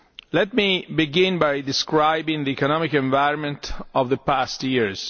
Let me begin by describing the economic environment of the past years.